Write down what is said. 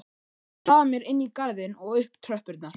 Ég hraða mér inn í garðinn og upp tröppurnar.